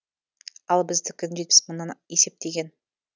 ал біздікін жетпіс мыңнан есептеген